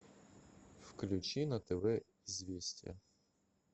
включи на тв известия